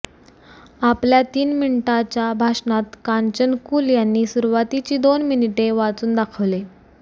आपल्या तीन मिनिटांच्या भाषणात कांचन कुल यांनी सुरुवातीची दोन मिनिटे वाचून दाखवले